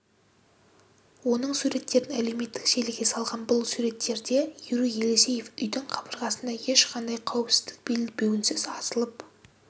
оның суреттерін әлеуметтік желіге салған бұл суреттерде юрий елисеев үйдің қабырғасында ешқандай қауіпсіздік белбеуінсіз асылып